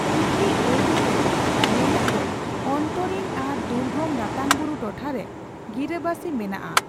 ᱠᱩᱠᱤ ᱟᱹᱲᱟ ᱨᱮᱭᱟᱜ ᱢᱮᱱᱮᱛ ᱫᱚ ᱚᱷᱚᱱᱛᱚᱨᱤᱱ ᱟᱨ ᱫᱩᱨᱜᱚᱢ ᱨᱟᱛᱟᱝᱵᱩᱨᱩ ᱴᱚᱴᱷᱟ ᱨᱮ ᱜᱤᱨᱟᱹᱵᱟᱥᱤ ᱢᱮᱱᱟᱜ ᱟ ᱾